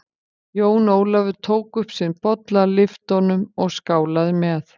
Jón Ólafur tók upp sinn bolla, lyfti honum og skálaði með.